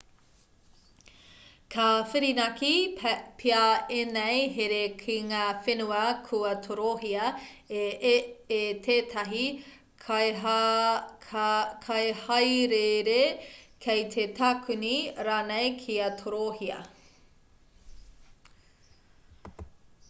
ka whirinaki pea ēnei here ki ngā whenua kua torohia e tētahi kaihāereere kei te takune rānei kia torohia